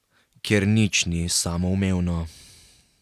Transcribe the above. Ker nič ni samoumevno.